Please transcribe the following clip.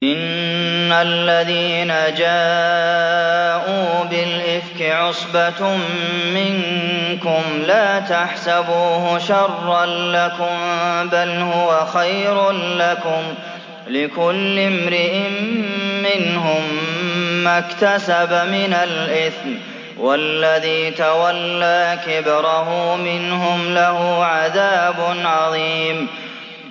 إِنَّ الَّذِينَ جَاءُوا بِالْإِفْكِ عُصْبَةٌ مِّنكُمْ ۚ لَا تَحْسَبُوهُ شَرًّا لَّكُم ۖ بَلْ هُوَ خَيْرٌ لَّكُمْ ۚ لِكُلِّ امْرِئٍ مِّنْهُم مَّا اكْتَسَبَ مِنَ الْإِثْمِ ۚ وَالَّذِي تَوَلَّىٰ كِبْرَهُ مِنْهُمْ لَهُ عَذَابٌ عَظِيمٌ